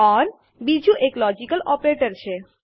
ઓર બીજું એક logical operator છે